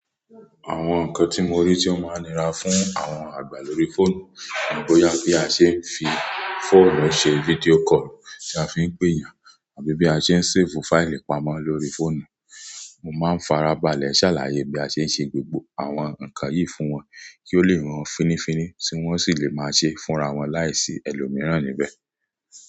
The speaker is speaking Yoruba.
Àwọn nǹkan tí mo rí tí ó máa ń nira fún àwọn àgbà lórí fóònù ni bóyá bi a ṣe é fi fóònù ṣe fídíò kọ̀lù tí a fi ń pè yàn àbí bí a ṣe ń séèfù fáìlì pamọ́ lórí fóònù. Mo máa ń farabalẹ̀ ṣàlàyé bí a ṣe ń ṣe gbogbo àwọn nǹkan yìí fún wọn kí ó lè ràn án fínnífínní tí wọ́n sì lè máa ṣe é fúnra wọn láìsí ẹlòmíràn níbẹ̀.